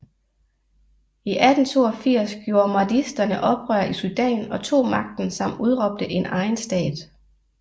I 1882 gjorde mahdisterne oprør i Sudan og tog magten samt udråbte en egen stat